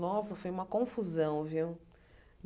Nossa, foi uma confusão, viu?